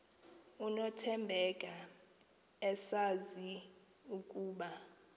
nothembeka esazi ukuba